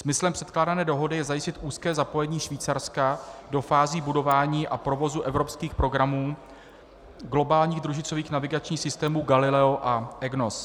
Smyslem předkládané dohody je zajistit úzké zapojení Švýcarska do fází budování a provozu evropských programů globálních družicových navigačních systémů Galileo a EGNOS.